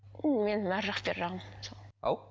менің арғы жақ бер жағым сол ау